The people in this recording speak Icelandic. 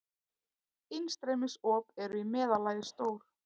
Innstreymisop eru í meðallagi stór.